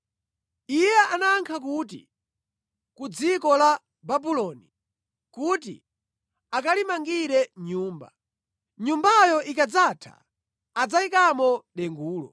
Iye anayankha kuti, “Ku dziko la Babuloni kuti akalimangire nyumba. Nyumbayo ikadzatha, adzayikamo dengulo.”